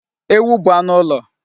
Ewu bụ anụ ụlọ.